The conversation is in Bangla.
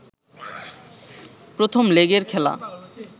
প্রথম লেগের খেলা